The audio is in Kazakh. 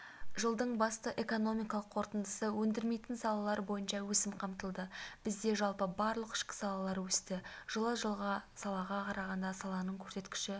жылдың басты экономикалық қорытындысы өндірмейтін салалар бойынша өсім қамтылды бізде жалпы барлық ішкі салалар өсті жылы жылғы салаға қарағанда саланың көрсеткіші